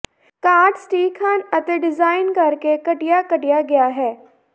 card ਸਟੀਕ ਹਨ ਅਤੇ ਡਿਜ਼ਾਈਨ ਕਰਕੇ ਘਟੀਆ ਕੱਟਿਆ ਗਿਆ ਹੈ